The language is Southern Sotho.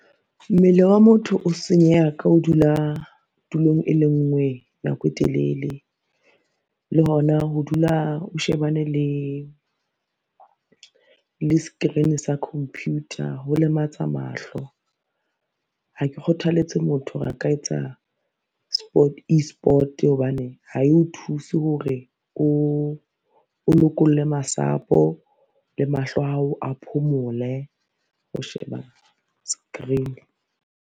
Mmele wa motho o senyeha ka ho dula tulong e le ngwe nako e telele. Le hona ho dula o shebane le screen sa computer ho lematsa mahlo. Ha ke kgothaletse motho hore a ka etsa e-sport hobane ha e o thuse hore o lokolle masapo le mahlo ao a phomole ho sheba screen.